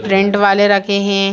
Rent वाले रखे है।